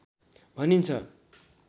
भनिन्छ